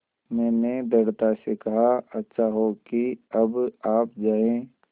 मैंने दृढ़ता से कहा अच्छा हो कि अब आप जाएँ